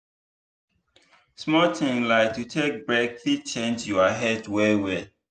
small thing like to take break fit change your health well well.